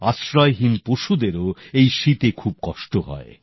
আশ্রয়হীন পশুদেরও এই শীতে খুব কষ্ট হয়